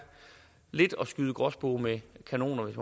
lidt at skyde gråspurve med kanoner hvis